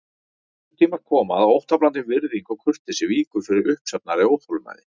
Þeir tímar koma að óttablandin virðing og kurteisi víkur fyrir uppsafnaðri óþolinmæði.